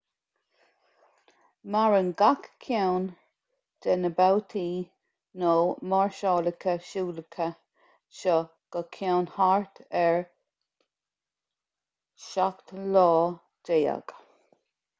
maireann gach ceann de na babhtaí nó máirseálacha siúlacha seo go ceann thart ar 17 lá